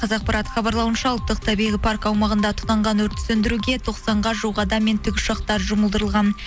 қазақпарат хабарлауынша ұлттық табиғи парк аумағында тұтанған өртті сөндіруге тоқсанға жуық адам мен тікұшақтар жұмылдырылған